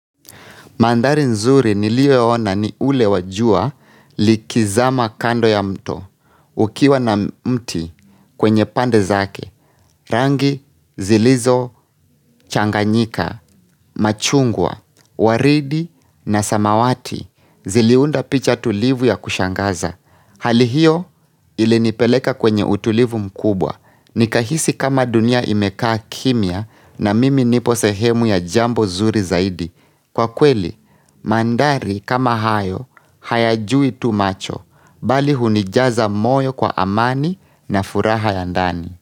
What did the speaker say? Mandhari nzuri niliwahi ona ni ule wa jua likizama kando ya mto, ukiwa na mti kwenye pande zake, rangi zilizo changanyika, machungwa, waridi na samawati ziliunda picha tulivu ya kushangaza. Hali hiyo ilinipeleka kwenye utulivu mkubwa, nikahisi kama dunia imekaa kimia na mimi niposehemu ya jambo zuri zaidi. Kwa kweli, mandhari kama hayo, hayajui tu macho, bali hunijaza moyo kwa amani na furaha ya ndani.